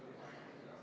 Muudatusettepanek nr 3.